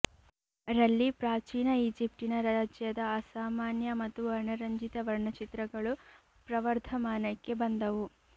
ರಲ್ಲಿ ಪ್ರಾಚೀನ ಈಜಿಪ್ಟಿನ ರಾಜ್ಯದ ಅಸಾಮಾನ್ಯ ಮತ್ತು ವರ್ಣರಂಜಿತ ವರ್ಣಚಿತ್ರಗಳು ಪ್ರವರ್ಧಮಾನಕ್ಕೆ ಬಂದವು